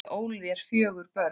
Ég ól þér fjögur börn.